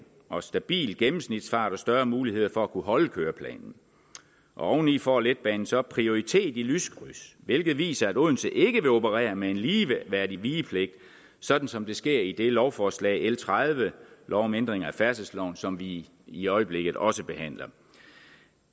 og stabil gennemsnitsfart og større muligheder for at kunne holde køreplanen oveni får letbanen så prioritet i lyskryds hvilket viser at odense ikke vil operere med en ligeværdig vigepligt sådan som det sker i lovforslag l tredive lov om ændring af færdselsloven som vi i øjeblikket også behandler